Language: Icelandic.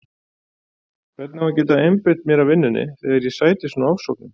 Hvernig á ég að geta einbeitt mér að vinnunni þegar ég sæti svona ofsóknum?